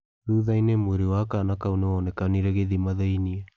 Thutha-inĩ mwĩrĩ wa kaana kau nĩ wonekanire gĩthima thĩinĩ.